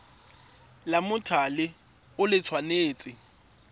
la mothale o le tshwanetse